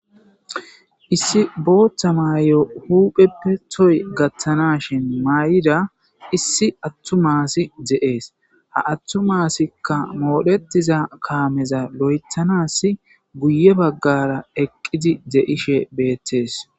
Issi botha mayo huphepe toho gathanashin mayida issie attuma asiy de'es ha attuma asika moretida kameza loythasi guye bagara eqidi de'ishe betes